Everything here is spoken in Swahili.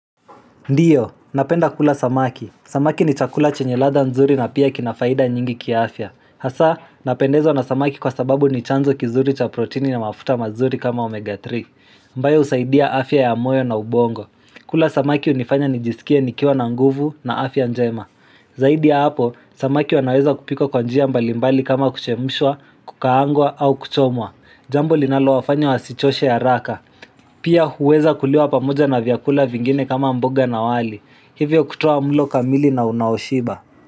Ndiyo, napenda kula samaki. Samaki ni chakula chenye ladhaa nzuri na pia kina faida nyingi ki afya. Hasa, napendezwa na samaki kwa sababu ni chanzo kizuri cha proteini na mafuta mazuri kama omega 3 ambayo husaidia afya ya moyo na ubongo. Kula samaki hunifanya nijisikie nikiwa na nguvu na afya njema. Zaidi ya hapo, samaki wanaweza kupikwa kwa njia mbalimbali kama kuchemshwa, kukaangwa au kuchomwa. Jambo linalo wafanya wasichoshe haraka. Pia huweza kuliwa pamoja na vyakula vingine kama mboga na wali. Hivyo kutowa mlo kamili na unaoshiba.